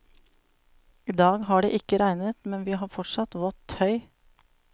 I dag har det ikke regnet, men vi har fortsatt vått tøy.